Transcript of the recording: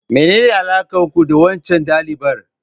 Menene alakar ku da waccan dalibar?